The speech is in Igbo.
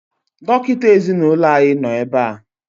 Dọkịta ezinaụlọ anyị nọ ebea